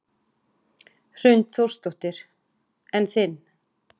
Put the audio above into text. Hrund Þórsdóttir: En þinn?